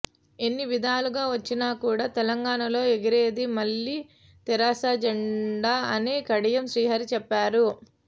ఎన్ని విధాలుగా వచ్చిన కూడా తెలంగాణలో ఎగిరేది మల్లి తెరాస జెండా అని కడియం శ్రీహరి చెప్పారు